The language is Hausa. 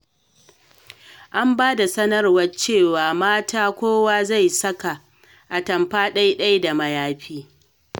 An ba da sanarwa cewa mata kowa za su saka atamfa ɗai-ɗai da da mayafi.